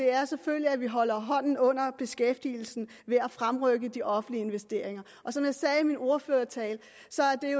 er selvfølgelig at vi holder hånden under beskæftigelsen ved at fremrykke de offentlige investeringer og som jeg sagde i min ordførertale